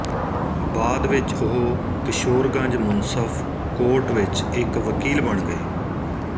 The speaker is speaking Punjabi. ਬਾਅਦ ਵਿੱਚ ਉਹ ਕਿਸ਼ੋਰਗੰਜ ਮੁਨਸਫ਼ ਕੋਰਟ ਵਿੱਚ ਇੱਕ ਵਕੀਲ ਬਣ ਗਏ